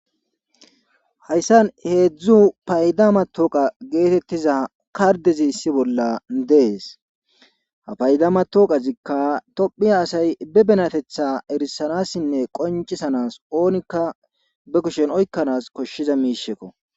hayssan heedzdzu payda matooqa geetettiza kardezi issi bolla dees ha payda matoqazikka tophiya asay be benatetha erisanassinne qoncisanas oonikka be kushen oykkanaas koshshiza miishekko